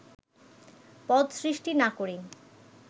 পদ সৃষ্টি না করেই